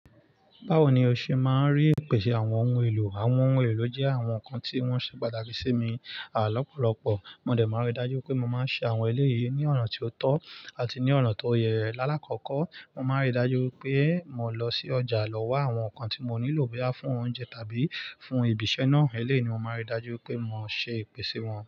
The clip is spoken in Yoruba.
Báwo ni o ṣe máa ń rí ìpèsè àwọn ohun èlò? Àwọn ohun èlò jẹ́ àwọn nǹkan tí wọ́n ṣe pàtàkì sí mi. À lọ́pọ̀lọ́pọ̀, mo dẹ̀ máa ń rí dájú pé mo máa ń ṣe àwọn eleyii ní ọ̀nà tí ó tọ́ àti ní ọ̀nà tó yẹ lálákọ́kọ́. Mo máa ń rí dájú pé mo lọ sí ọjà lọ wá àwọn nǹkan tí mo nílò, bóyá fún oúnjẹ tàbí fún ìbíṣẹ́ náà. Eléyii ni mo máa ń rí dájú pé mo ṣe ìpèsè wọn.